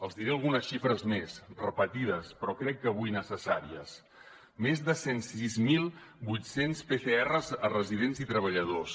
els diré algunes xifres més repetides però crec que avui necessàries més de cent i sis mil vuit cents pcrs a residents i treballadors